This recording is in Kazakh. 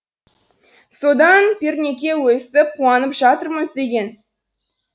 содан пернеке өстіп қуанып жатырмыз деген